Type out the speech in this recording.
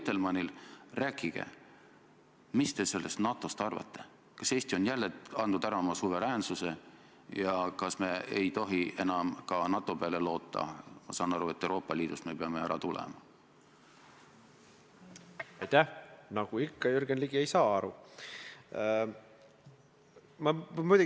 Ma lootsin saada selget, ühemõttelist vastust, et Eesti prokuratuur ei ole poliitiliselt kallutatud, et Eesti õigusriik väärib kaitsmist ja et see, mida Mart Helme on teinud, on lubamatu, ja et te teete kõik selleks, et Mart Helme ei jätkaks prokuratuuri ja õigusemõistmise poliitilist ründamist.